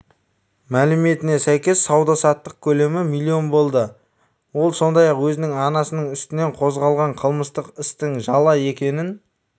мәліметіне сәйкес сауда-саттық көлемі млн болды ол сондай-ақ өзінің анасының үстінен қозғалған қылмыстық істің жала екенін